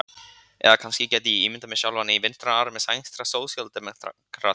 Eða kannski gæti ég ímyndað mér sjálfan mig í vinstra armi sænskra sósíaldemókrata.